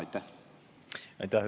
Aitäh!